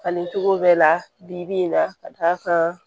Fani cogo bɛɛ la bi-bi in na ka d'a kan